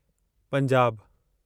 पंजाबु